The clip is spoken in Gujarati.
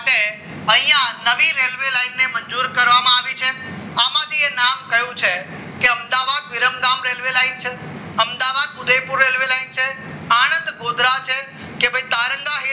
છે અહીંયા નવી રેલવે લાઈને મંજૂરી કરવામાં આવી છે આમાંથી નામ કયું છે કે અમદાવાદ વિરમગામ રેલ્વે લાઈન છે અમદાવાદ ઉદયપુર રેલવે લાઇન છે આણંદ ગુજરાત છે કે પછી તારંગા